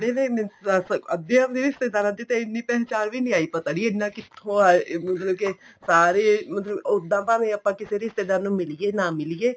ਕਿਹੜੇ ਨੇ ਦੱਸ ਅੱਧਿਆਂ ਦੀ ਰਿਸਤੇਦਾਰਾਂ ਐਨੀ ਪਹਿਚਾਣ ਵੀ ਨਹੀਂ ਆਈ ਪਤਾ ਨਹੀਂ ਐਨਾ ਕਿਥੋ ਆਏ ਮਤਲਬ ਕੇ ਸਾਰੇ ਮਤਲਬ ਕੇ ਉੱਦਾਂ ਭਾਵੇਂ ਆਪਾਂ ਕਿਸੇ ਰਿਸ਼ਤੇਦਾਰ ਮਿਲੀਏ ਭਾਵੇਂ ਨਾ ਮਿਲੀਏ